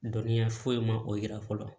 Dɔnniya foyi ma o yira fɔlɔ